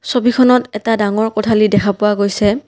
ছবিখনত এটা ডাঙৰ কোঠালী দেখা পোৱা গৈছে।